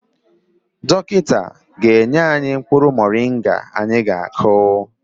Dọkịta ga-enye anyị mkpụrụ moringa anyị ga-akụ.